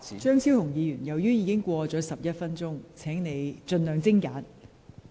張超雄議員，你已發言超逾11分鐘，請盡量精簡。